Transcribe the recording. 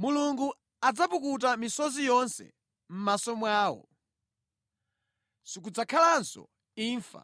‘Mulungu adzapukuta misozi yonse mʼmaso mwawo. Sikudzakhalanso imfa